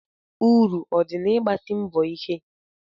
Uru ọ dị na i n'ịgbasi mbọ ike?